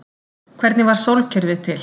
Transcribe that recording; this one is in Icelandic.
Hvernig varð sólkerfið til?